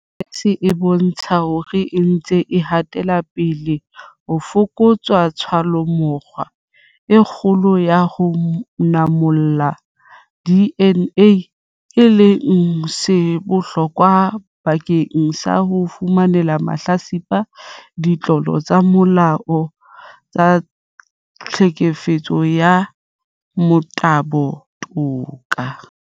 SAPS e bontshitse hore re ntse re hatela pele ho fokotsa tshallomora e kgolo ya ho manolla DNA, e leng se bohlokwa bakeng sa ho fumanela mahlatsipa a ditlolo tsa molao tsa tlhekefetso ya motabo toka.